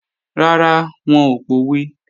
Rárá, wọn ò pòwe